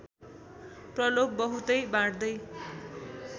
प्रलोभ बहुतै बाँड्दै